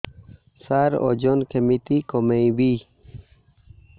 ସାର ଓଜନ କେମିତି କମେଇବି